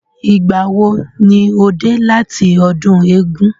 Ìgbà wo ni o dé láti ọdún eégún?